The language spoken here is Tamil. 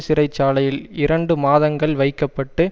சிறை சாலையில் இரண்டு மாதங்கள் வைக்க பட்டு